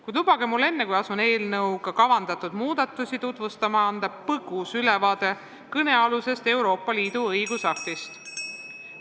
Kuid lubage enne, kui asun eelnõuga kavandatud muudatusi tutvustama, anda põgus ülevaade kõnealusest Euroopa Liidu õigusaktist.